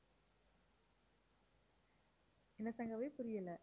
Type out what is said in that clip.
என்ன சங்கவி புரியல?